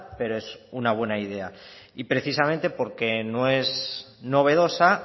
pero es una buena idea y precisamente porque no es novedosa